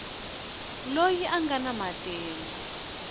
loyi a nga na matimba